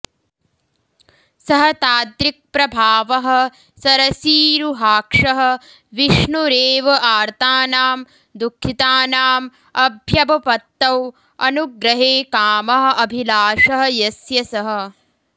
सः तादृक्प्रभावः सरसीरुहाक्षः विष्णुरेव आर्तानां दुःखितानां अभ्यवपत्तौ अनुग्रहे कामः अभिलाषः यस्य सः